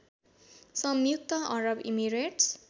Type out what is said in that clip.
संयुक्त अरब इमिरेट्स